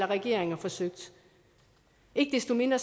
regeringer forsøgt ikke desto mindre